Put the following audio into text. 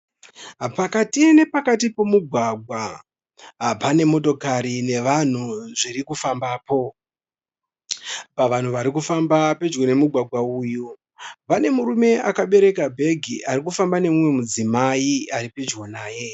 Pakati nepakati pomugwagwa pane motokari nevanhu zvirikufambapo. Pavanhu varikufamba pedyo nemugwagwa uyu pane murume akabereka bhegi arikufamba nemumwe mudzimai aripedyo naye.